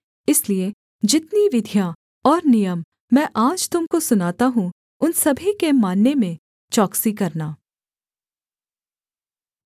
इसलिए जितनी विधियाँ और नियम मैं आज तुम को सुनाता हूँ उन सभी के मानने में चौकसी करना